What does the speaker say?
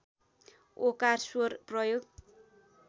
ओकार स्वर प्रयोग